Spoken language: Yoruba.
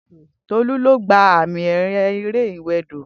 Tolu lo gba àmì ẹ̀yẹ eré ìwè odò